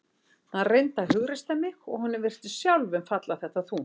Hann reyndi að hughreysta mig og honum virtist sjálfum falla þetta þungt.